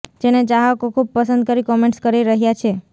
જેને ચાહકો ખુબ પસંદ કરી કોમેન્ટ્સ કરી રહ્યા છે